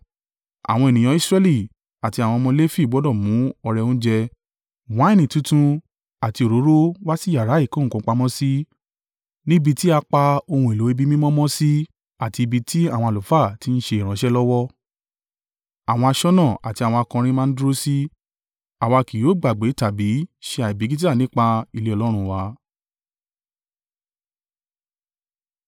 Àwọn ènìyàn Israẹli, àti àwọn ọmọ Lefi gbọdọ̀ mú ọrẹ oúnjẹ, wáìnì tuntun àti òróró wá sí yàrá ìkó nǹkan pamọ́ sí níbi tí a pa ohun èlò ibi mímọ́ mọ́ sí àti ibi tí àwọn àlùfáà tí ń ṣe ìránṣẹ́ lọ́wọ́, àwọn aṣọ́nà àti àwọn akọrin máa ń dúró sí. “Àwa kì yóò gbàgbé tàbí ṣe àìbìkítà nípa ilé Ọlọ́run wa.”